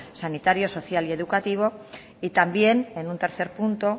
sanitarios social y educativo y también en un tercer punto